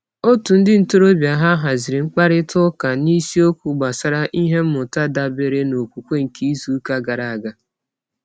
Òtù ndị ntorobịa ha haziri mkparịtaụka n'isiokwu gbasara ihe mmụta dabeere n'okwukwe nke izuụka gara aga.